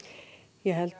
ég held